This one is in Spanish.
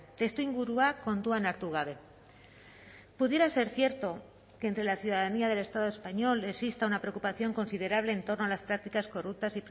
testuingurua kontuan hartu gabe pudiera ser cierto que entre la ciudadanía del estado español exista una preocupación considerable en torno a las prácticas corruptas